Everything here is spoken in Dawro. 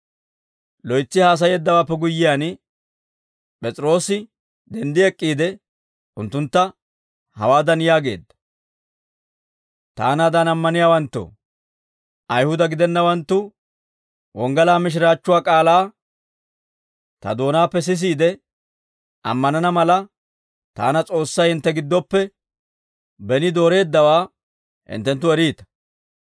Loytsi haasayeeddawaappe guyyiyaan, P'es'iroosi denddi ek'k'iide, unttuntta hawaadan yaageedda; «Taanaadan ammaniyaawanttoo, Ayihuda gidennawanttu wonggalaa mishiraachchuwaa k'aalaa ta doonaappe sisiide ammanana mala, taana S'oossay hintte giddoppe beni dooreeddawaa hinttenttu eriita.